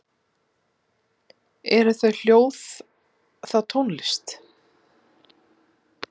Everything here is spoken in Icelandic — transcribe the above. Eru þau hljóð þá tónlist?